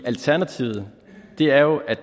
alternativet er jo at